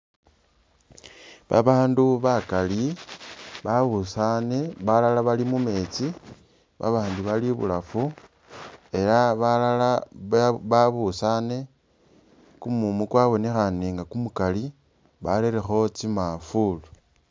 Babandu bakali babusane, balala bali mumetsi babandi bali ibulafu, ela balala ba babusane, kumumu kwabonekhane nga kumukali barerekho tsi mafuulu